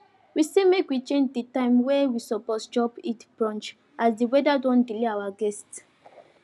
we say make we change the time wey we suppose chop eid brunch as the weather don delay our guests